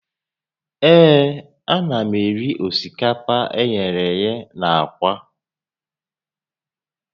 Ee, ana m eri osikapa eghere eghe na aka